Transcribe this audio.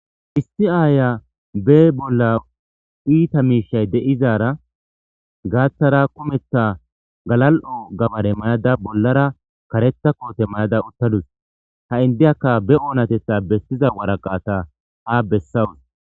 issi aaya be bolla iita miishay de7izara gaaththara kumetha galal7o gabare mayada bollara karetha koote mayada uttadus ha indeyakka be oonatetha bessiza waraqaata ha bessawus